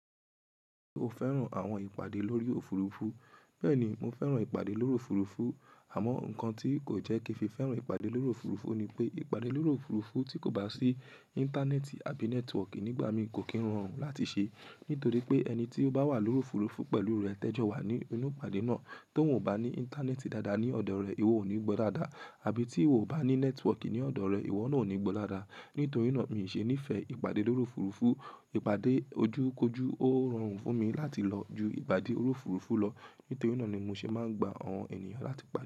Ṣé o fẹ́ràn àwọn ìpàdé lórí òfurufú? Bẹ́ẹ̀ni, mo fẹ́ràn ìpàdé lórí òfurufú. Àmọ́, ǹkan tí kò jẹ́ kí n fi fẹ́ràn ìpàdé lórí òfurufú ni pé ìpàdé lórí òfurufú tí kò bá sí Íńtánẹ́ẹ̀tì àbí nẹ́tíwọ̀kì nígbà mí kò kí ń rọrùn láti ṣe. Nítorí pé ẹni tí ó bá wà lórí òfurufú pẹ̀lú rẹ̀, tẹ́jọ́ wà ní inú ìpàdé náà. Tóun ò bá ní Íńtánẹ́ẹ̀tì dáadáa ní ọ̀dọ̀ rẹ̀, ìwọ ò ní gbọ́ dáadáa àbí tí ò bá ní nẹ́tíwọ̀kì ní ọ̀dọ̀ rẹ̀, ìwọ náà ò ní gbọ́ dáadáa. Nítorí náà, mi ò ṣe ní fẹ ìpàdé lórí òfurufú. Ìpàdé ojú kojú ó rọrùn fún mi láti lọ ju ìpàdé orí òfurufú lọ. Nítorí náà ni mo ṣe máa ń gba àwọn ènìyàn láti pa.